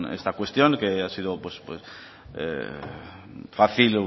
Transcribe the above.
esta cuestión que ha sido fácil